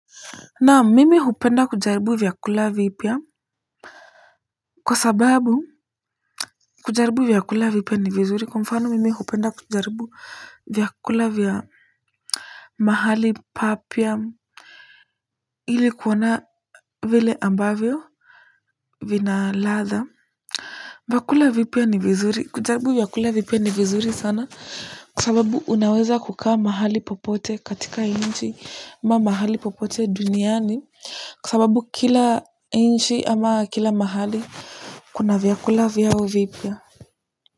Naam, mimi hupenda kujaribu vyakula vipya. Kwa sababu, kujaribu vyakula vipya ni vizuri. Kwa mfano mimi hupenda kujaribu vyakula vya mahali papya ili kuona vile ambavyo vina ladha. Vyakula vipya ni vizuri sana. Kwa sababu unaweza kukaa mahali popote katika inchi ama mahali popote duniani. Kwa sababu kila inchi ama kila mahali kuna vyakula vyao vipya.